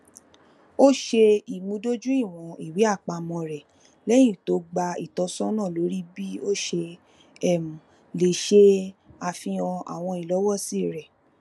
o ṣe imudojuiwọn iweapamọ rẹ lẹyin to gba itọsọna lori bi o ṣe um le ṣe afihan awọn ilọwọsi rẹ